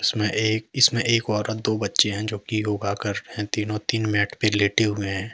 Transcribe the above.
इसमें एक औरत दो बच्चे हैं जो कि तीनों तीन मैट में लेटे हुए हैं।